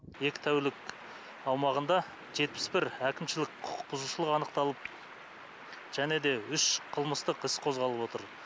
екі тәулік аумағында жетпіс бір әкімшілік құқықбұзушылық анықталып және де үш қылмыстық іс қозғалып отыр